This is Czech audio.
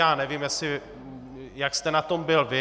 Já nevím, jak jste na tom byl vy.